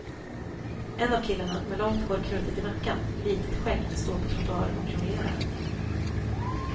En av killarna, med långt hår knutet i nacken, litet skägg, står på trottoaren och jonglerar.